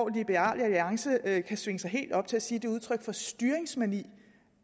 liberal alliance kan svinge sig helt op til at sige det udtryk for styringsmani